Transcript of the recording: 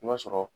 I b'a sɔrɔ